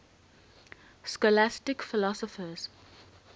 scholastic philosophers